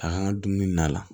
A kan ka dumuni na